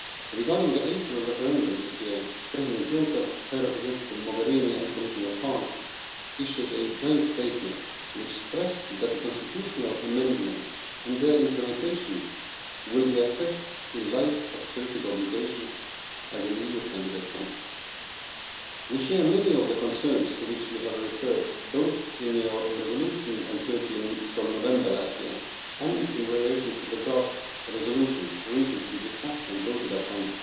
Regarding the April referendum this year, President Juncker, High Representative Mogherini and Commission Hahn issued a joint statement, which stressed that the constitutional amendments and their implementation will be assessed in light of Turkey's obligations as an EU candidate country. We share many of the concerns to which you Parliament referred both in its resolution on Turkey from November last year and in relation to the draft resolution recently discussed and voted upon